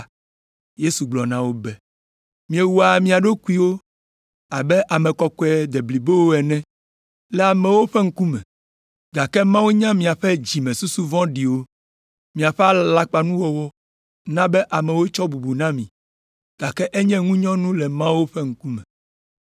Yesu gblɔ na wo be, “Miewɔa mia ɖokuiwo abe ame kɔkɔe deblibowo ene le amewo ƒe ŋkume, gake Mawu nya miaƒe dzimesusu vɔ̃ɖiwo.” Miaƒe alakpanuwɔwɔ na be amewo tsɔa bubu na mi, gake enye ŋunyɔnu le Mawu ƒe ŋkume.